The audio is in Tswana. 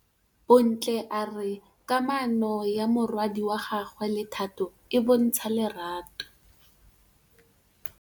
Bontle a re kamanô ya morwadi wa gagwe le Thato e bontsha lerato.